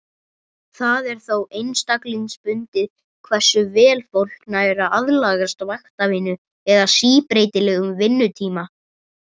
Það er þó einstaklingsbundið hversu vel fólk nær að aðlagast vaktavinnu eða síbreytilegum vinnutíma.